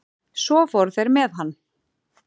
Svo fóru þeir með hann.